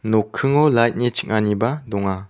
nokkingo lait ni ching·aniba donga.